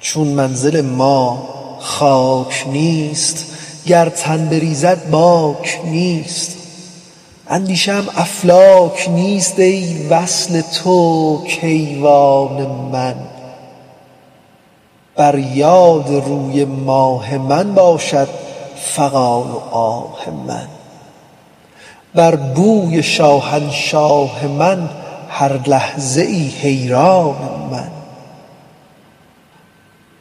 چون منزل ما خاک نیست گر تن بریزد باک نیست اندیشه ام افلاک نیست ای وصل تو کیوان من بر یاد روی ماه من باشد فغان و آه من بر بوی شاهنشاه من هر لحظه ای حیران من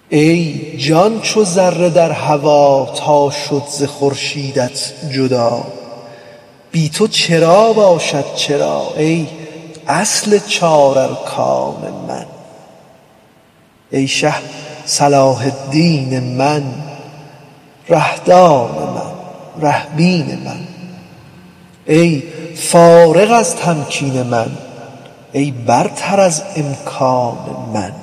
ای جان چو ذره در هوا تا شد ز خورشیدت جدا بی تو چرا باشد چرا ای اصل چارارکان من ای شه صلاح الدین من ره دان من ره بین من ای فارغ از تمکین من ای برتر از امکان من